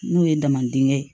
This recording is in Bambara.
N'o ye dama dingɛ ye